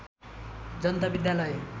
जनता विद्यालय